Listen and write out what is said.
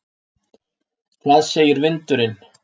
Hvað segir vindurinn?